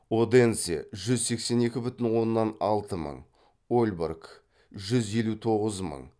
оденсе ольборг